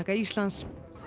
Íslands